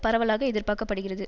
பரவலாக எதிர்பார்க்க படுகிறது